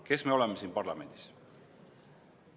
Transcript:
Kes me oleme siin parlamendis?